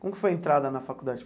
Como que foi a entrada na faculdade?